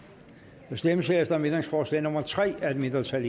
der stemmes herefter om ændringsforslag nummer tre af et mindretal og